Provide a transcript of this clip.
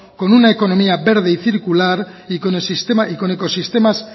con una economía verde y circular y con ecosistemas